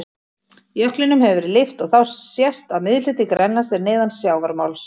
Jöklinum hefur verið lyft og þá sést að miðhluti Grænlands er neðan sjávarmáls.